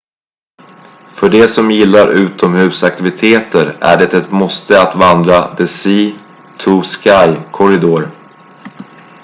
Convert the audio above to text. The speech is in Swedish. för de som gillar utomhusaktiviteter är det ett måste att vandra the sea-to-sky corridor